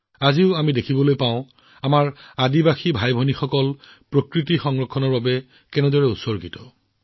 আজিও আমি দেখিবলৈ পাওঁ যে আমাৰ জনজাতীয় ভাইভনীসকল প্ৰকৃতিৰ যত্ন আৰু সংৰক্ষণৰ প্ৰতি সকলো প্ৰকাৰে উৎসৰ্গিত